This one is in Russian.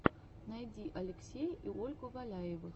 найди алексея и ольгу валяевых